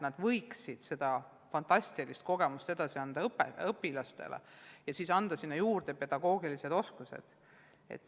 Nad võiksid oma fantastilisi kogemusi õpilastele edasi anda ja omandada seejuures pedagoogilised oskused.